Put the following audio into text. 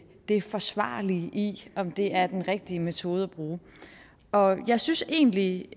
det forsvarlige i om det er den rigtige metode at bruge og jeg synes egentlig